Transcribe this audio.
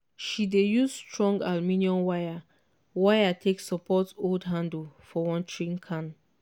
she dey use strong aluminium wire wire take support old handle for watering can.